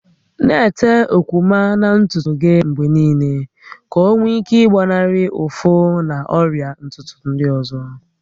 Na-ete okwuma na ntutu gị mgbe niile ka ọ nwee ike ịgbanarị ụfụ na ọrịa ntutu ndị ọzọ